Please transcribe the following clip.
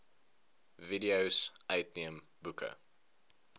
videos uitneem boeke